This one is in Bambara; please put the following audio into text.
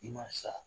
I ma sa